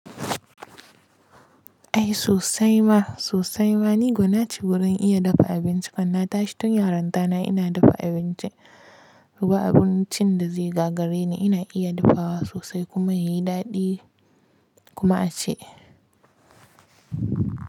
Ai sosai ma sosai ma ni gwana ce wurin iya dafa abinci, kan na tashi tun yarinta na ina dafa abinci. Ba abincin da zai gagare ni, ina iya dafawa sosai kuma yayi daɗi kuma aci.